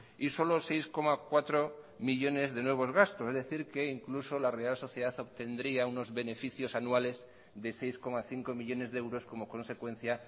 y solo seis coma cuatro millónes de nuevos gastos es decir que incluso la real sociedad obtendría unos beneficios anuales de seis coma cinco millónes de euros como consecuencia